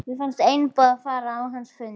Mér fannst einboðið að fara á hans fund.